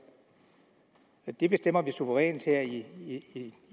det bestemmes suverænt her i